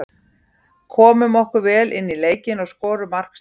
Komum okkur vel inní leikinn og skorum mark snemma.